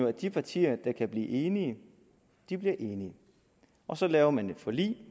at de partier der kan blive enige bliver enige og så laver man et forlig